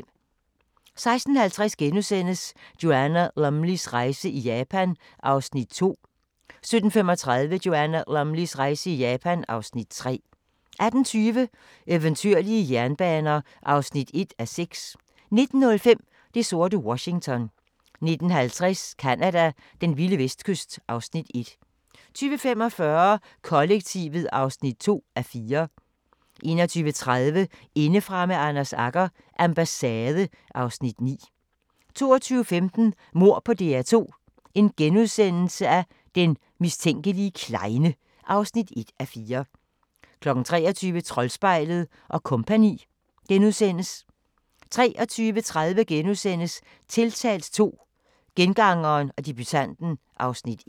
16:50: Joanna Lumleys rejse i Japan (Afs. 2)* 17:35: Joanna Lumleys rejse i Japan (Afs. 3) 18:20: Eventyrlige jernbaner (1:6) 19:05: Det sorte Washington 19:50: Canada: Den vilde vestkyst (Afs. 1) 20:45: Kollektivet (2:4) 21:30: Indefra med Anders Agger – Ambassade (Afs. 9) 22:15: Mord på DR2 - den mistænkelige klejne (1:4)* 23:00: Troldspejlet & Co. * 23:30: Tiltalt II - Gengangeren og debutanten (Afs. 1)*